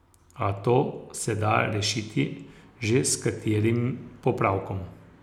A to se da rešiti že s katerim popravkom.